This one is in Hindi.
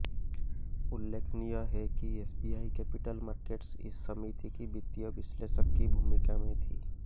उल्लेखनीय है कि एसबीआई कैपिटल मार्केट्स इस समिति की वित्तीय विश्लेषक की भूमिका में थी